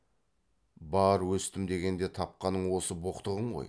бар өстім дегенде тапқаның осы боқтығың ғой